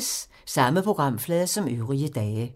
Samme programflade som øvrige dage